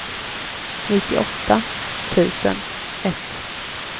nittioåtta tusen ett